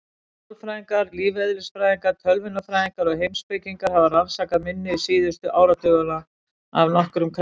Sálfræðingar, lífeðlisfræðingar, tölvunarfræðingar og heimspekingar hafa rannsakað minni síðustu áratugina af nokkrum krafti.